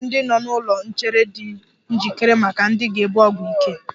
E nwere ndị nọ n'ụlọ nchere di njikere maka ndị ga-ebu ọgwụ ike.